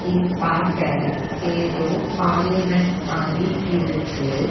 இது பாக்க ஏதோ பார்லிமெண்ட் மாறி இருக்கு.